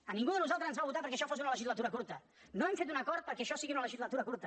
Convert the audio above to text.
a ningú de nosaltres ens van votar perquè això fos una legislatura curta no hem fet un acord perquè això sigui una legislatura curta